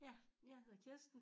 Ja jeg hedder Kirsten